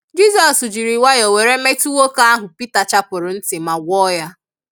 Jisọs jiri nwayo were metu nwoke ahu pita chapuru nti ma gwọọ ya.